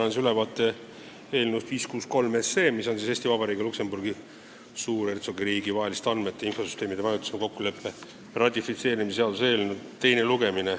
Annan ülevaate eelnõust 563, mis on Eesti Vabariigi ja Luksemburgi Suurhertsogiriigi vahelise andmete ja infosüsteemide majutamise kokkuleppe ratifitseerimise seaduse eelnõu.